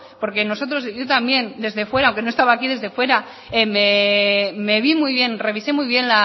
porque nosotros y yo también desde fuera aunque no estaba aquí desde fuera me ví muy bien revisé muy bien